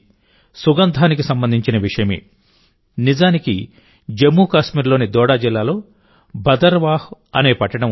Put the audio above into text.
సుగంధానికి సంబంధించిన విషయమే నిజానికిజమ్మూ కాశ్మీర్లోని దోడా జిల్లాలో భదర్వాహ్ అనే పట్టణం ఉంది